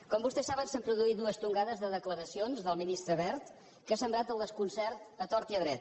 com vostès saben s’han produït dues tongades de declaracions del ministre wert que ha sembrat el desconcert a tort i a dret